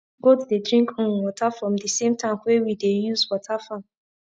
goat dey drink um water from the same tank wey we dey use water farm